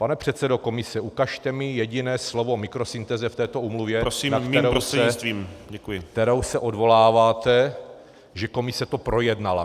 Pane předsedo komise, ukažte mi jediné slovo o mikrosyntéze v této úmluvě , na kterou se odvoláváte, že komise to projednala.